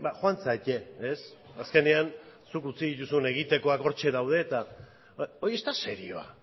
joan zaitez azkenean zuk utzi duzun egiteko hortxe daude eta hori ez da serioa